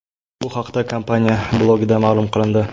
Bu haqda kompaniya blogida ma’lum qilindi .